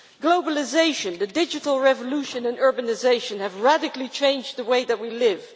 Globalisation, the digital revolution and urbanisation have radically changed the way that we live.